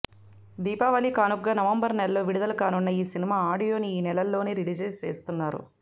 దీపావళి కానుకగా నవంబర్ నెలలో విడుదల కానున్న ఈ సినిమా ఆడియోని ఈ నెల్లోనే రిలీజ్ చేయనున్నారు